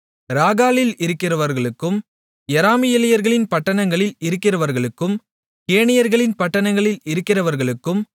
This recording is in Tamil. ராக்காலில் இருக்கிறவர்களுக்கும் யெராமியேலியர்களின் பட்டணங்களில் இருக்கிறவர்களுக்கும் கேனியர்களின் பட்டணங்களில் இருக்கிறவர்களுக்கும்